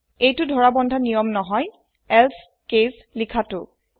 এইটো ধৰা বন্ধা নিয়ম নহই এলছে কেচ লিখা তু